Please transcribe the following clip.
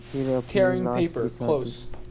फिर अपनी लाश बिछा दी